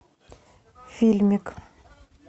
фильмик